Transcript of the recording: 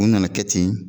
U nana kɛ ten